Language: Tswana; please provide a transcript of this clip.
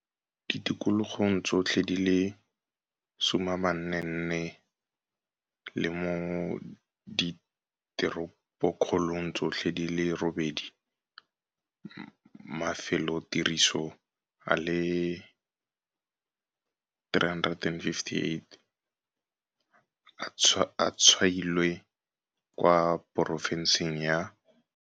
ditikologong tsotlhe di le 44 le mo diteropokgolong tsotlhe di le robedi. Mafelotiriso a le 358 a tshwailwe kwa porofenseng ya